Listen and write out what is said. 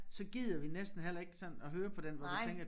Så gider vi næsten heller ikke sådan at høre på den hvor du tænker